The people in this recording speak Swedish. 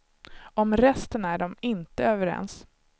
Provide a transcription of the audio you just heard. Om resten är de inte överens.